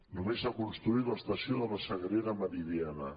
només s’ha construït l’estació de la sagrera meridiana